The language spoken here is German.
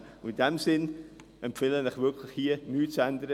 In diesem Sinne empfehle ich Ihnen, hier wirklich nichts zu ändern.